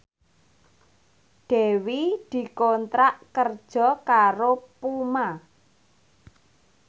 Dewi dikontrak kerja karo Puma